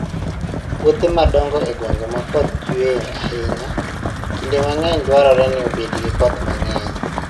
Puothe madongo e gwenge ma koth chue ahinya, kinde mang'eny dwarore ni obed gi koth mang'eny.